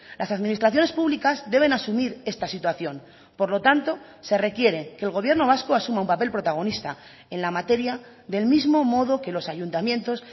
las administraciones públicas deben asumir esta situación por lo tanto se requiere que el gobierno vasco asuma un papel protagonista en la materia del mismo modo que los ayuntamientos